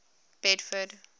bedford